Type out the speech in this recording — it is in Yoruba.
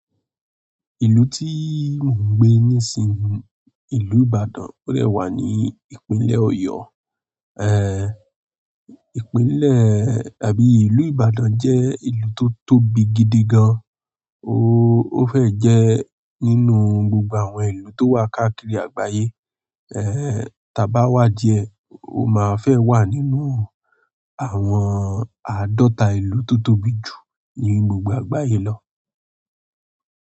Ìlú tíì mò ń gbé nísinsìnyí, ìlú Ìbàdàn, ó dẹ̀ wà ní ìpínlẹ̀ Ọ̀yọ́. Ẹ̀, ìpínlẹ̀ àbí ìlú Ìbàdàn jẹ́ ibi tótóbi gidi gan o ó fẹ jẹ́ nínú gbogbo àwọn ìlú tó wà káàkiri àgbáyé. Ehn, tí a bá wà díẹ̀, ó máa fẹ́ wà nínú àwọn àádọ́ta ìlú tó tóbi jù ní gbogbo àgbáyé lọ.